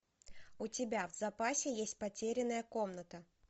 у тебя в запасе есть потерянная комната